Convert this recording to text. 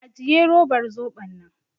Ajiye robar zoɓon nan!